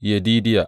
Yedidiya.